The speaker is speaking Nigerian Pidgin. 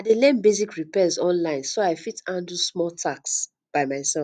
i dey learn basic repairs online so i fit handle small tasks by myself